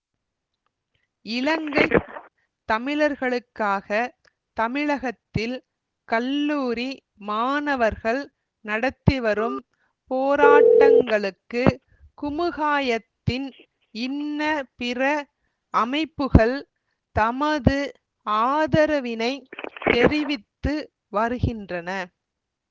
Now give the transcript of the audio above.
இலங்கை தமிழர்களுக்காக தமிழகத்தில் கல்லூரி மாணவர்கள் நடத்திவரும் போராட்டங்களுக்கு குமுகாயத்தின் இன்ன பிற அமைப்புகள் தமது ஆதரவினை தெரிவித்து வருகின்றன